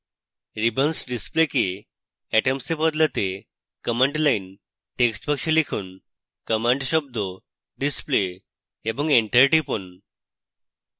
ribbons ডিসপ্লেকে atoms এ বদলাতে command line text box এ লিখুন: command শব্দ display এবং enter টিপুন